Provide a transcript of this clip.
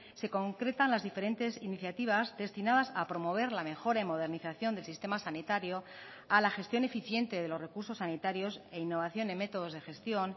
se concretan las diferentes iniciativas destinadas a promover la mejora y modernización del sistema sanitario a la gestión eficiente de los recursos sanitarios e innovación en métodos de gestión